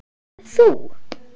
að þú.